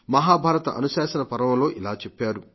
మహాభారత అనుశాసన పర్వంలో ఇలా చెప్పారు